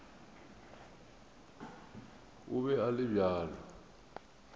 o be a le bjalo